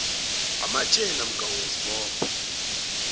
amashare namkha uyazibopha